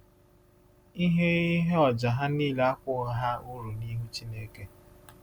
Ihe Ihe ọjà ha niile akwụghị ha uru n’ihu Chineke.